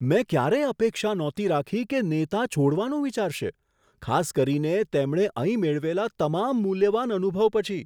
મેં ક્યારેય અપેક્ષા નહોતી રાખી કે નેતા છોડવાનું વિચારશે, ખાસ કરીને તેમણે અહીં મેળવેલા તમામ મૂલ્યવાન અનુભવ પછી.